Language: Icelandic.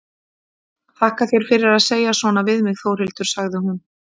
Þakka þér fyrir að segja svona við mig Þórhildur, sagði hún.